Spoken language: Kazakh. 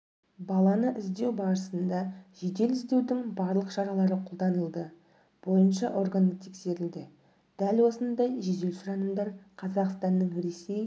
баланы іздеу барысында жедел-іздеудің барлық шаралары қолданылды бойынша органы тексерілді дәл осындай жедел сұранымдар қазақстанның ресей